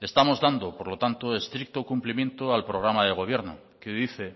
estamos dando por lo tanto estricto cumplimiento al programa de gobierno que dice